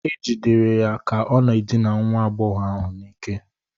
E jidere ya ka ọ na-edina nwa agbọghọ ahụ n'ike